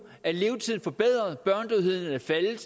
er levetiden forbedret børnedødeligheden er faldet